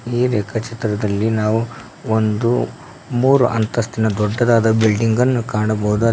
ಈ ರೇಖಾ ಚಿತ್ರದಲ್ಲಿ ನಾವು ಒಂದು ಮೂರು ಅಂತಸ್ತಿನ ದೊಡ್ಡದಾದ ಬಿಲ್ಡಿಂಗನ್ನು ಕಾಣಬೋದು.